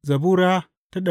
Zabura Sura